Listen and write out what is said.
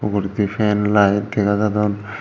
uguredi fan light dega jadon.